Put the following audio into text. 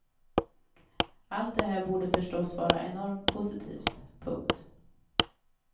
Allt det här borde förstås vara enormt positivt. punkt